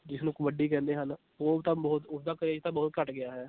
ਜਿਸਨੂੰ ਕਬੱਡੀ ਕਹਿੰਦੇ ਹਨ, ਉਹ ਤਾਂ ਬਹੁਤ ਉਸਦਾ craze ਤਾਂ ਬਹੁਤ ਘੱਟ ਗਿਆ ਹੈ।